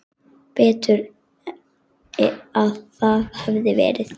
Betur að það hefði verið.